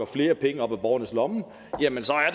flere penge op af borgernes lommer